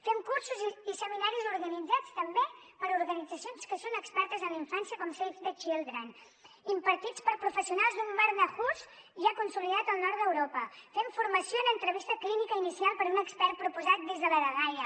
fem cursos i seminaris organitzats també per organitzacions que són expertes en infància com save the children impartits per professionals d’un barnahus ja consolidat al nord d’europa fem formació en entrevista clínica inicial per un expert proposat des de la dgaia